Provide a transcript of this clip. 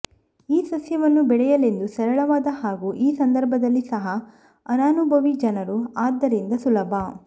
ಈ ಸಸ್ಯವನ್ನು ಬೆಳೆಯಲೆಂದು ಸರಳವಾದ ಹಾಗೂ ಈ ಸಂದರ್ಭದಲ್ಲಿ ಸಹ ಅನನುಭವಿ ಜನರು ಆದ್ದರಿಂದ ಸುಲಭ